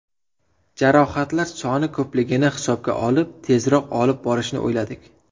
Jarohatlar soni ko‘pligini hisob olib, tezroq olib borishni o‘yladik.